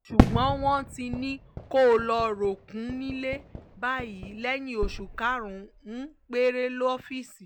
ṣùgbọ́n wọ́n ti ní kó lọ́ọ́ rọ́ọ̀kùn nílẹ̀ báyìí lẹ́yìn oṣù karùn-ún péré lọ́fíìsì